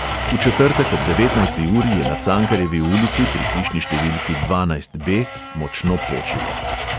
V četrtek ob devetnajsti uri je na cankarjevi ulici pri hišni številki dvanajst B močno počilo.